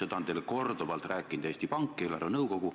Seda on teile korduvalt rääkinud Eesti Pank, eelarvenõukogu.